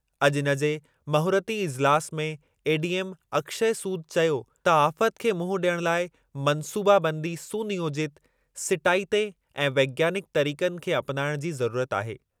अॼु इनजे महूरती इज़िलासु में एडीएम, अक्षय सूद चयो त आफ़त खे मुंहुं ॾियणु लाइ मंसूबाबंदी, सुनियोजित, सिटाइते ऐं विज्ञानिकु तरीक़नि खे अपनाइणु जी ज़रुरत आहे।